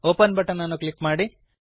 open button ಅನ್ನು click ಮಾಡಿ